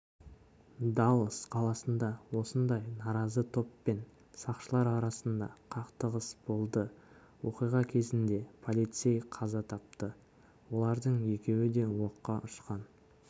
даллас қаласында осындай наразы топ пен сақшылар арасында қақтығыс болды оқиға кезінде полицей қаза тапты олардың екеуі де оққа ұшқан